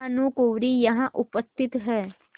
भानुकुँवरि यहाँ उपस्थित हैं